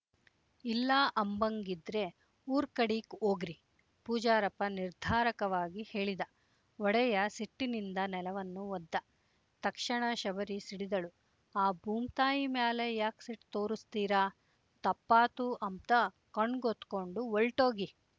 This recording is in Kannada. ಇಲ್ಲ ಅಂಬಂಗಿದ್ರೆ ಊರ್ಕಡೀಕ್ ವೋಗ್ರಿ ಪೂಜಾರಪ್ಪ ನಿರ್ಧಾರಕವಾಗಿ ಹೇಳಿದ ಒಡೆಯ ಸಿಟ್ಟಿನಿಂದ ನೆಲವನ್ನು ಒದ್ದ ತಕ್ಷಣ ಶಬರಿ ಸಿಡಿದಳು ಆ ಬೂಮ್‍ತಾಯಿ ಮ್ಯಾಲೆ ಯಾಕ್ ಸಿಟ್ ತೋರುಸ್ತೀರಾ ತಪ್ಪಾತು ಅಂಬ್ತ ಕಣ್ಗೊತ್ಕೊಂಡು ವೊಲ್ಟೋಗಿ